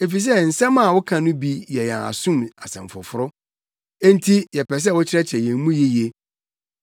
efisɛ nsɛm a woka no bi yɛ yɛn asom asɛm foforo, enti yɛpɛ sɛ wokyerɛkyerɛ yɛn mu yiye.”